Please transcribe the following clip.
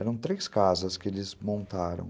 Eram três casas que eles montaram.